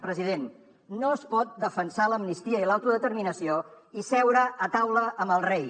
president no es pot defensar l’amnistia i l’autodeterminació i seure a taula amb el rei